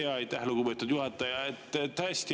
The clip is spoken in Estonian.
Aitäh, lugupeetud juhataja!